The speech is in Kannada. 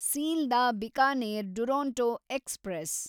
ಸೀಲ್ದಾ ಬಿಕಾನೇರ್ ಡುರೊಂಟೊ ಎಕ್ಸ್‌ಪ್ರೆಸ್